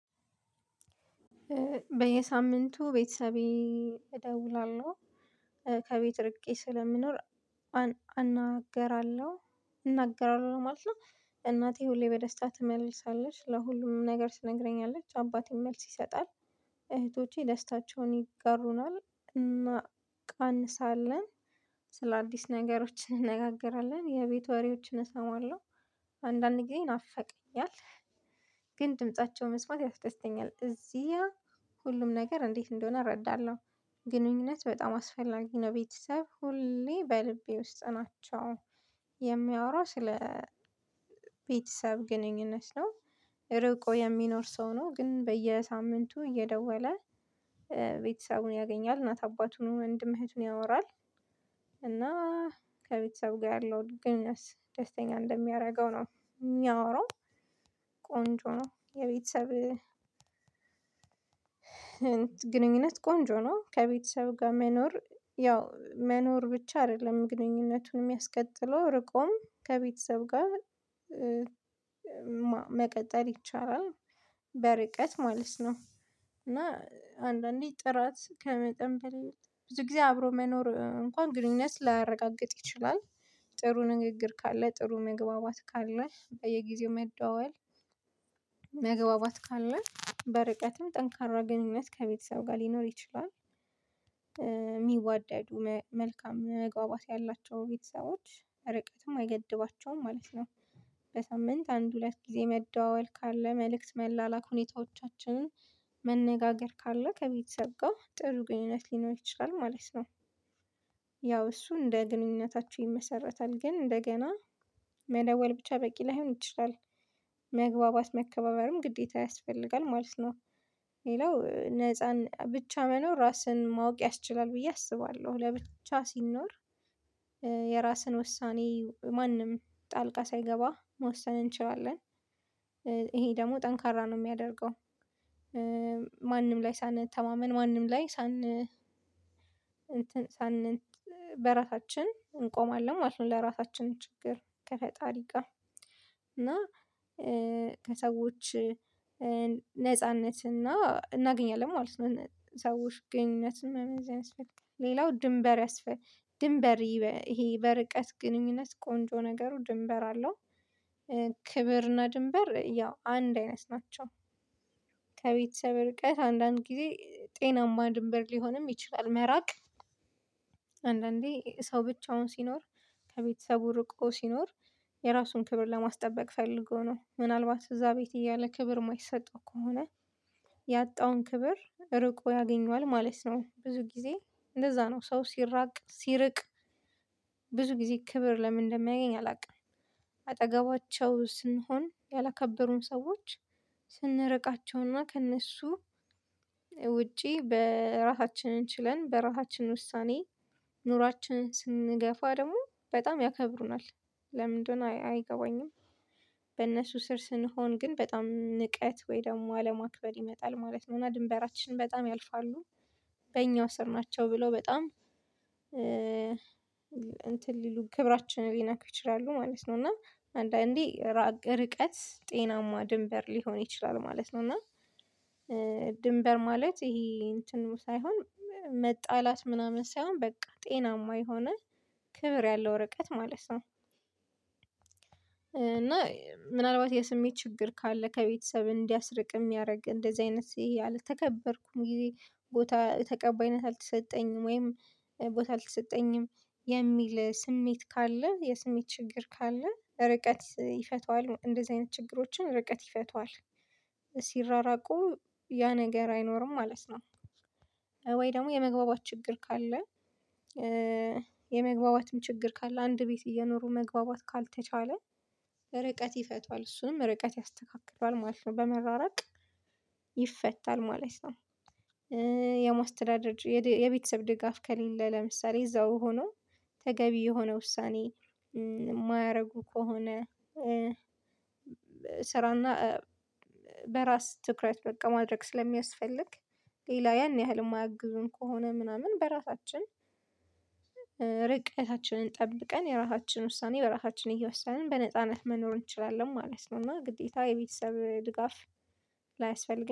በየሳምንቱ ቤተሰቤ እደውላለሁ ከቤት ርቄ ስለምኖር እናገራለሁ ማለት ነው። እናቴ ሁሌ በደስታ ትምልሳለች ለሁሉም ነገር ትነግረኛለች። አባቴን መልስ ይሰጣል። እህቶቼ ደስታቸውን ይገሩናል እና ቃንሳለን። ስለአዲስ ነገሮች እንነጋገራለን የቤት ወሬዎችን እሰማለሁ። አንዳንድ ይናፈቀኛል። ግን ድምፃቸው መስማት ያስተስተኛል እዚያ ሁሉም ነገር እንዴት እንደሆነ እረዳለሁ። ግንኙነት በጣም አስፈላጊ ነው ቤተሰብ ሁሌ በልቤ ውስጥ ናቸው። የሚያወራው ስለ ቤተሰብ ግንኙነት ነው። ርቆ የሚኖር ሰው ነው ግን በየሳምንቱ እየደወለ ቤተሰቡን ያገኛል እናት አባቱን ወንድም እህት ያወራል። እና ከቤተሰብ ጋር ያለው ግግኑኝነት ደስተኛ እንደሚያደርገው ነው። የሚያወራው ቆንጆ ነው። የቤተሰብ ግንኙነት ቆንጆ ነው። ከቤተሰብ ጋር መኖር ያው መኖር ብቻ አይደለም ግንኙነቱን የሚያስከትለው ርቆም ከቤተሰብ ጋር መቀጠል ይቻላል። በርቀት ማለት ነው። እና አንዳንዴ ጥራት ከመጠን በላይ ብዙ ጊዜ አብሮ መኖር እንኳን ግንኙነት ላረጋግጥ ይችላል። ጥሩ ንግግር ካለ ጥሩ መግባባት ካለ በየጊዜው መደወል። መግባባት ካለ በርቀትም ጠንካራ ግንኙነት ከቤተሰብ ጋር ሊኖር ይችላል። የሚዋደዱ መልካም መግባባት ያላቸው ቤተሰቦች ርቀትም አይገድባቸውም ማለት ነው። በሳምንት አንድ ሁለት ጊዜ መደዋወል ካለ መልእክት መላላክ ሁኔታዎቻችንን መነጋገር ካለ ከቤተሰብ ጋር ጥሩ ግንኙነት ሊኖር ይችላል ማለት ነው። ያው እሱ እንደ ግንኙነታቸው ይመሰረታል ግን እንደገና መደወል ብቻ በቂ ላይሆን ይችላል። መግባባት መከባበርም ግዴታ ያስፈልጋል ማለት ነው። ሌላው ነፃን ብቻ መኖር ራስን ማወቅ ያስችላል ብዬ አስባለሁ ለብቻ ሲኖር የራስን ውሳኔ ማንም ጣልቃ ሳይገባ መወሰን እንችላለን። እሄ ደግሞ ጠንካራ ነው የሚያደርገው። ማንም ላይ ሳንተማመን ማንም ላይ እንትን በራሳችን እንቆማለን ማለት ነው። ለራሳችን ችግር ከፈጣሪ ጋር እና ከሰዎች ነጻነት እና እናገኛለን ማለት ነው። ሰዎች ግንኙነት መመስረት ያስፈልጋል ሌላው ድንበር ያስፈልጋል ድንበር ይሄ በርቀት ግንኙነት ቆንጆ ነገሩ ድንበር አለው። ክብርና ድንበር ያው አንድ አይነት ናቸው። ከቤተሰብ ርቀ አንዳንድ ጊዜ ጤናማ ድንበር ሊሆንም ይችላል መራቅ። አንዳንዴ ሰው ብቻውን ሲኖር ከቤተሰቡ ርቆ ሲኖር የራሱን ክብር ለማስጠበቅ ፈልጎ ነው ምናልባት እዛ ቤት እያለ ክብር የማይሰጠው ከሆነ ያጣውን ክብር ርቆ ያገኘዋል ማለት ነው። ብዙ ጊዜ እንደዛ ነው ሰው ሲራቅ ሲርቅ ብዙ ጊዜ ክብር ለምን እንደሚያየኝ አላቅም። አጠገባቸው ስንሆን ያላከበሩም ሰዎች ስንረቃቸውና ከእነሱ ውጪ በራሳችን ችለን በራሳችን ውሳኔ ኑሯችንን ስንገፋ ደግሞ በጣም ያከብሩናል። ለምን እንደሆነ አይገባኝም። በእነሱ ስር ስንሆን ግን በጣም ንቀት ወይ ደግሞ አለማክበር ይመጣል ማለት ነው። እና ድንበራችን በጣም ያልፋሉ። በእኛው ስር ናቸው ብለው በጣም እንትን ሊሉ ክብራችንን ሊነኩ ይችላሉ ማለት ነው። እና አንዳንዴ ርቀት ጤናማ ድንበር ሊሆን ይችላል ማለት ነው። እና ድንበር ማለት ይሄ እንትን ሳይሆን መጣላት ምናምን ሳይሆን በቃ ጤናማ የሆነ ክብር ያለው ርቀት ማለት ነው። እና ምናልባት የስሜት ችግር ካለ ከቤተሰብ እንዲያስርቅ የሚያደርግ እንደዚህ አይነት አልተከበርኩ ጊዜ ቦታ ተቀባይነት አልተሰጠኝም ወይም ቦታ አልተሰጠኝም የሚል ስሜት ካለ የስሜት ችግር ካለ ርቀት ይፈተዋል እንደዚህ አይነት ችግሮችን ርቀት ይፈቱሀል። ሲራራቁ ያ ነገር አይኖርም ማለት ነው። ወይ ደግሞ የመግባባት ችግር ካለ። የመግባባትም ችግር ካለ አንድ ቤት እየኖሩ መግባባት ካልተቻለ ርቀት ይፈቷል እሱንም ርቀት ያስተካክለዋል ማለት ነው። በመራራቅ ይፈታል ማለት ነው። የመስተዳደር የቤተሰብ ድጋፍ ከሌለ ለምሳሌ እዛው ሆኖ ተገቢ የሆነ ውሳኔ የማያረጉ ከሆነ። ስራና በራስ ትኩረት በቃ ማድረግ ስለሚያስፈልግ። ሌላ ያን ያህል የማያግዙን ከሆነ ምናምን በራሳችን ርቀታችንን ጠብቀን የራሳችን ውሳኔ በራሳችን እየወሰንን በነጻነት መኖር እንችላለን ማለት ነው። እና ግዴታ የቤተሰብ ድጋፍ ላያስፈልግ